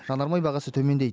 жанармай бағасы төмендейді